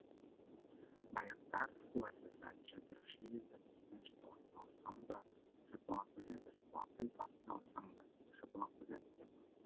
баяғыда рысқұл әкесі айта беруші еді таспен жапалақты ұрсаң да жапалақ өледі жапалақпен тасты ұрсаң да жапалақ өледі деп